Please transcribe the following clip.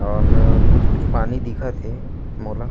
और कुछ - कुछ पानी दिखत हे मोला--